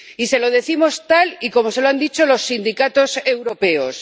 Y se lo decimos tal y como se lo han dicho los sindicatos europeos.